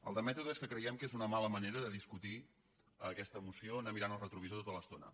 el de mètode és que creiem que és una mala manera de discutir aquesta moció anar mirant el retrovisor to·ta l’estona